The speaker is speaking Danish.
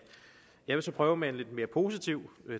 jeg vil så prøve med en lidt mere positiv